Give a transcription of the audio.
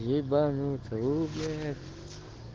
ебанутся уу бля